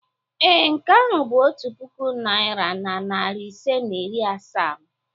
Ee, nke ahụ bụ otu puku naira na narị ise na iri asaa m.